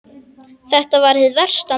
Þetta var hið versta mál!